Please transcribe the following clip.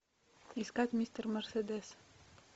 искать мистер мерседес